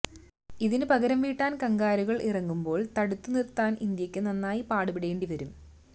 ഇതിന് പകരം വീട്ടാന് കംഗാരുക്കള് ഇറങ്ങുമ്പോള് തടുത്ത് നിര്ത്താന് ഇന്ത്യക്ക് നന്നായി പാടുപെടേണ്ടി വരും